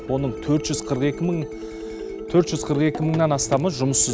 оның төрт жүз қырық екі мыңнан астамы жұмыссыз